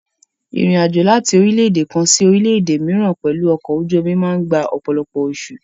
Ìrìn àjò láti orílẹ́-èdè kan sí orílẹ́-èdè mìíràn pẹ̀lú ọkọ̀ ojú omi máa gba ọ̀pọ̀lọpọ̀ oṣù.